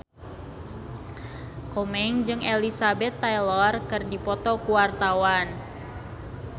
Komeng jeung Elizabeth Taylor keur dipoto ku wartawan